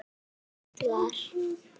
Hvað sem reynt var.